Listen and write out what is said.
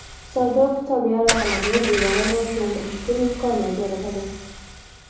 savdo-iqtisodiy aloqalarni jadal rivojlantirish uchun imkoniyat yaratadi.